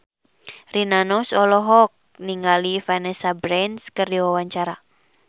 Rina Nose olohok ningali Vanessa Branch keur diwawancara